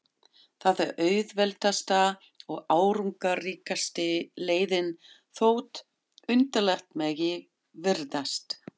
Það er auðveldasta og árangursríkasta leiðin, þótt undarlegt megi virðast.